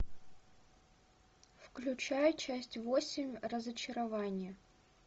включай часть восемь разочарование